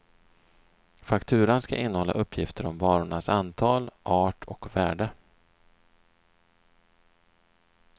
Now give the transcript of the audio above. Fakturan skall innehålla uppgifter om varornas antal, art och värde.